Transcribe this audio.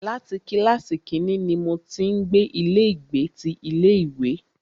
Láti kílàsì kínní ní mo ti ń gbé ilé ìgbé ti ilé ìwé.